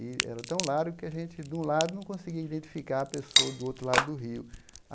E era tão largo que a gente, de um lado, não conseguia identificar a pessoa do outro lado do rio.